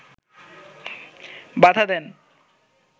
বাধা দেন